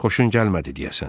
Xoşun gəlmədi deyəsən?